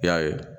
I y'a ye